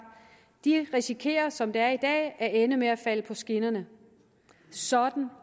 de risikerer som det er i dag at ende med at falde ned på skinnerne sådan